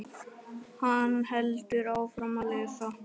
Hann heldur áfram að lesa